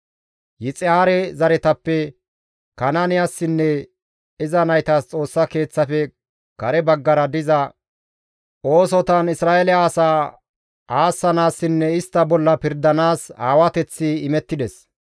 Yixihaare zaretappe Kanaaniyassinne iza naytas Xoossa Keeththafe kare baggara diza oosotan Isra7eele asaa aassanaassinne istta bolla pirdanaas aawateththi imettides.